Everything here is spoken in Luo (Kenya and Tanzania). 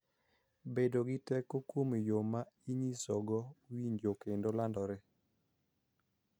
Bedo gi teko kuom yo ma inyisogo winjo kendo landore,